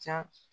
Ca